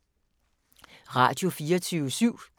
Radio24syv